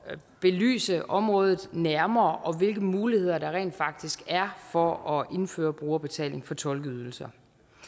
belyse området nærmere og hvilke muligheder der rent faktisk er for at indføre brugerbetaling for tolkeydelser